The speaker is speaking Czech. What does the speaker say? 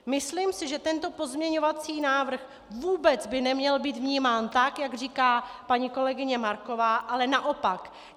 Myslím si, že tento pozměňovací návrh vůbec by neměl být vnímán tak, jak říká paní kolegyně Marková, ale naopak.